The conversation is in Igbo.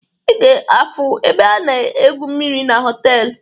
Ị ga-afu ebe a na-egwu mmiri na họtelu